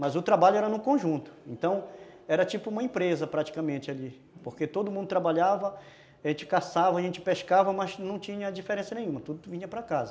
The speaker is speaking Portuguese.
Mas o trabalho era num conjunto, então era tipo uma empresa praticamente ali, porque todo mundo trabalhava, a gente caçava, a gente pescava, mas não tinha diferença nenhuma, tudo vinha para casa.